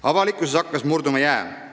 Avalikkuses hakkas aga jää murduma.